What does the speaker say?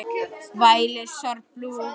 Þeirra missir er mikill.